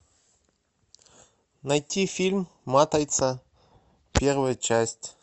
найти фильм матрица первая часть